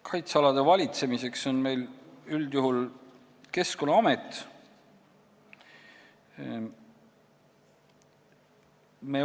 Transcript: Kaitsealade valitsemisega tegeleb meil üldjuhul Keskkonnaamet.